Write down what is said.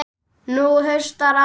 Nú haustar að.